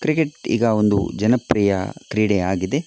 Cricket ಈಗ ಒಂದು ಜನಪ್ರಿಯ ಕ್ರೀಡೆ ಆಗಿದೆ.